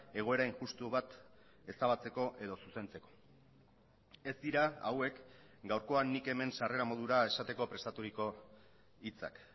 egoera injustu bat ezabatzeko edo zuzentzeko ez dira hauek gaurkoan nik hemen sarrera modura esateko prestaturiko hitzak